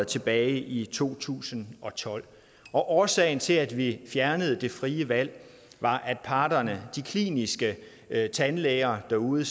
tilbage i to tusind og tolv og årsagen til at vi fjernede det frie valg var at parterne de kliniske tandlæger derude